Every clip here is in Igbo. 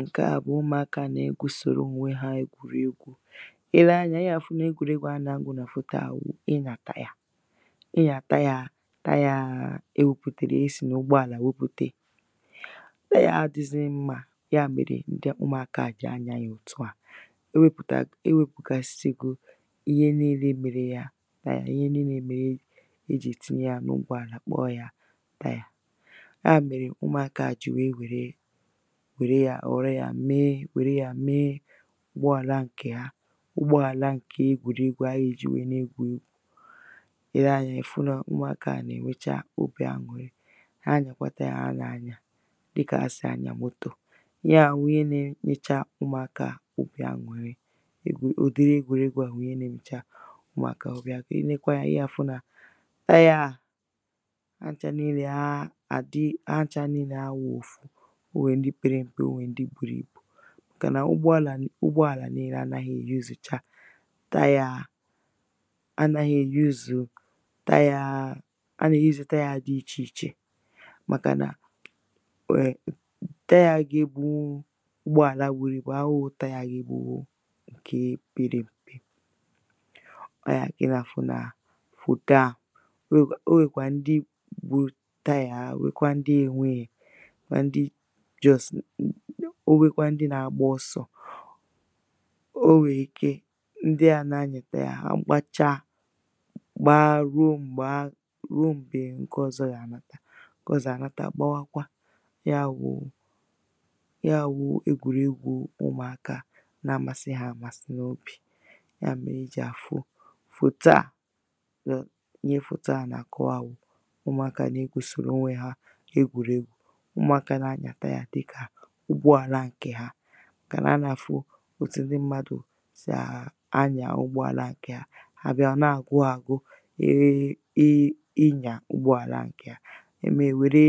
ǹke à bụ̀ ụmụ̀akā na-egwūsòro ònwe hā egwùregwū i lee anyā ị gà-àfụ nà egwùregwū ha nà-amụ̄ nà fòto à wụ̀ ịnyà tire ịnyà tire tire ewēpùtèrè esì n'ụgbọ àlà wepùte tire à adị̄ghị̄zị̄ mmā ya mèrè ụmụ̀akā à jì anyā yà òtu à ewēpùta ewēpùgasigo ihe niīnē mere ya tire ihe niīnē mere ejì tinye yā n’ụgbọ àlà kpọọ yā tire ya mèrè ụmụ̀akā à jì wèe wère wère yā wère yā meé wère yā meé ụgbọ àla ǹkè ha ụgbọ àla ǹke egwùregwū ha gà-èji wèe na-egwù egwū i lee anyā ị̀ fụ nà ụmụ̀akā à nà-ènwecha obì anwụ̀rị ha nyàkwata ihe ha nà-anyà dịkà ha sì anyà motò ya wụ̀ ihe na-enyecha ụmụ̀akā à obì anwụ̀rị egwù ụ̀dịrị egwùregwū à wụ̀ ihe nā-ēnyēchā ụmụ̀akā à obì anwụ̀rị i nekwa anyā ị gà-àfụ nà tire à ha nchā niīlē ha àdi ha nchā niīlē awụ̄ghị̄ òfu o nwèrè ndɪ pērē m̀pe, o nwèrè ndị būrū ībù màkànà ụgbọ àlà ni ụgbọ àlà niīlē anāghị̄ èyuzùcha tire anāghị̄ èyuzū tire a nà-èyuzū tire dị̄ ichè ichè màkànà weè tire gà-èbùnwù ụgbọ àla buru ibù awụ̄ghị̄ tire gà-èbùnwù ǹkè oberē ọwụ̀ ya kà ị nà-àfụ nà fòto à o nwèkwà o nwèkwà ndị nwērē tire ha nwekwa ndị ēnwēghè mà ndị just o nwekwa ndị nā-āgbā ọsọ̄ o nwèrè ike ndị à na-anyà tire ha gbacha gba ruo m̀gbè ahụ̀ ruo m̀gbè ǹke ọ̄zọ̄ gà-ànata ǹke ọ̄zọ̄ ànata gbawakwa ya wụ̄ ya wụ̄ ēgwùregwū ụmụ̀akā na-amasị hā amasị n’obì ya mèrè i jì àfụ fòto à ihe fòto à nà-àkọ̀wa wụ̀ ụmụ̀akā à nà-egwūsòro ònwe hā egwùregwū ụmụ̀akā à nà-anyà tire dịkà ụgbọ àla ǹkè ha màkànà ha nà-àfụ òtù ndị mmadụ̀ sì anyà ụgbọ àla ǹkè hà ha bia ọ̀ na-àgwụ hā āgwụ̄ ịnyà ụgbọ àla ǹkè ha ha mee hà nwère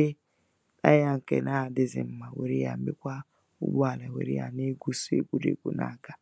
tire ǹkè na-adịghịzị mmā nwère yā mekwa ụgbọ àlà nwère yā na-egwū sọ̀ egwùregwū n’aga